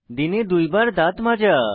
দিনে দুইবার দাঁত মাজা